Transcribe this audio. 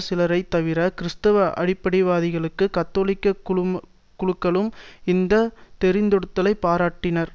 சிலரைத் தவிர கிறிஸ்துவ அடிப்படைவாதிகளும் கத்தோலிக்க குழுக்களும் இந்த தெரிந்தெடுத்தலை பாராட்டினர்